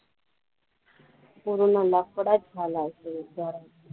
पूर्ण लफडाचं झाला असेल घरात